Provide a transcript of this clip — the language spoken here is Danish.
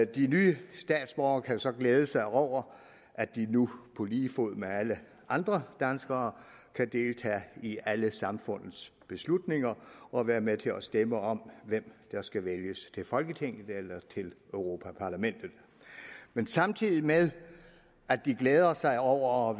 de nye statsborgere kan så glæde sig over at de nu på lige fod med alle andre danskere kan deltage i alle samfundets beslutninger og være med til at stemme om hvem der skal vælges til folketinget eller til europa parlamentet men samtidig med at de glæder sig over